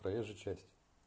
проезжая часть